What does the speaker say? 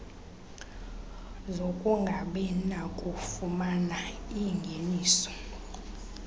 zokungabi nakufumana iingeniso